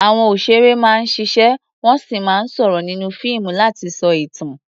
Àwọn òṣèré máa ń ṣiṣẹ́ wọ́n sì máa ń sọ̀rọ̀ nínú fíìmù láti sọ ìtàn.